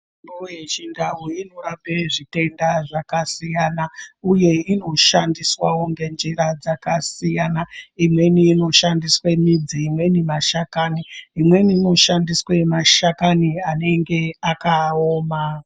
....mbo yechindau inorape zvitenda zvakasiyana uye inoshandiswawo ngenjira dzakasiyana. Imweni inoshandiswe midzi, imweni mashakani. Imweni inoshandiswe mashakani anenge akaoma.